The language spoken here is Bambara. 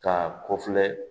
Ka ko filɛ